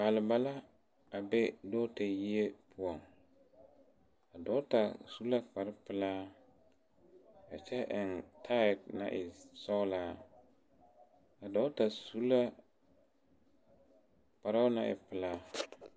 Balba la a be dɔgeta yiri poɔŋ a dɔgeta su la kparepelaa a kyɛ eŋ taae naŋ e sɔglaa a dɔgeta su la kparoo naŋ e pelaa.